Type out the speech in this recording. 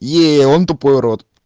е он тупой урод